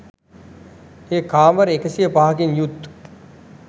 එය කාමර 105 කින් යුත්